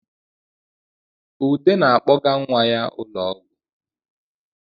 Ude na-akpọga nwa ya ụlọ ọgwụ